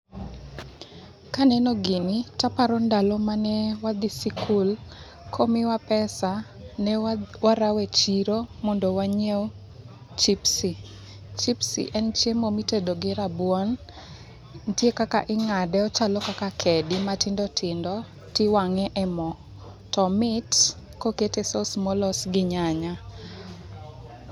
Kaneno gini to aparo ndalo mane wadhi sikul, komiwa pesa ne warawo echiro mondo wanyiew chipsi. Chipsi en chiemo mitedo gi rabuon, nitie kaka ing'ade ochalo kaka kedi matindi tindo to iwang'e e mo. To omit kokete sause molos gi nyanya.